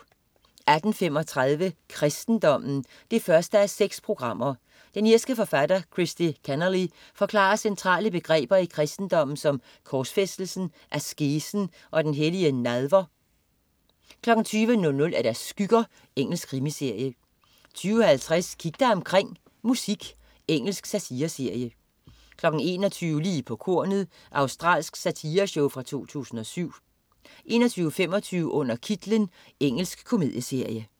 18.35 Kristendommen 1:6. Den irske forfatter Christy Kenneally forklarer centrale begreber i kristendommen som korsfæstelsen, askesen og den hellige nadver 20.00 Skygger. Engelsk krimiserie 20.50 Kig dig omkring: Musik. Engelsk satireserie 21.00 Lige på kornet. Australsk satireshow fra 2007 21.25 Under kitlen. Engelsk komedieserie